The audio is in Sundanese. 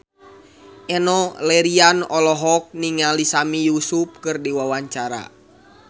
Enno Lerian olohok ningali Sami Yusuf keur diwawancara